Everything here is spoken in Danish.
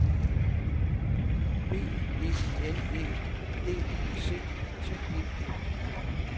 B E N E D I C T E